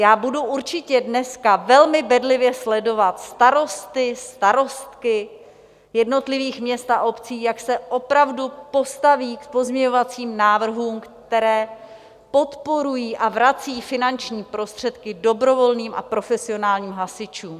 Já budu určitě dneska velmi bedlivě sledovat starosty, starostky jednotlivých měst a obcí, jak se opravdu postaví k pozměňovacím návrhům, které podporují a vrací finanční prostředky dobrovolným a profesionálním hasičům.